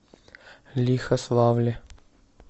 лихославле